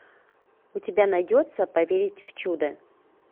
у тебя найдется поверить в чудо